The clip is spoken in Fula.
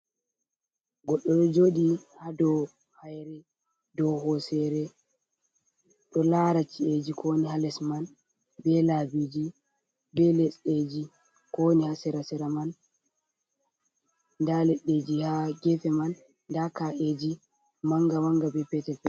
Goddo joɗi ha dow hair, dow hosere, ɗo lara. ka’eji kowani ha les man, be labiji be leɗɗeji ko wani ha sera sera man, nda leddeji ha gefe man nda ka’eji manga manga be petel.